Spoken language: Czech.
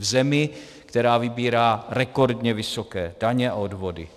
V zemi, která vybírá rekordně vysoké daně a odvody.